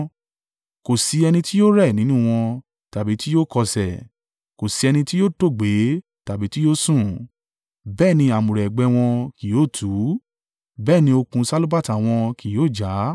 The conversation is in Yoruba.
Kò sí ẹni tí yóò rẹ̀ nínú wọn, tàbí tí yóò kọsẹ̀, kò sí ẹni tí yóò tòògbé tàbí tí yóò sùn; bẹ́ẹ̀ ni àmùrè ẹ̀gbẹ́ wọn kì yóò tú, bẹ́ẹ̀ ni okùn sálúbàtà wọn kì yóò ja.